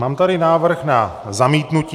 Mám tady návrh na zamítnutí.